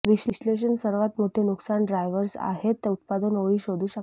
विश्लेषण सर्वात मोठे नुकसान ड्राइव्हर्स् आहेत उत्पादन ओळी शोधू शकता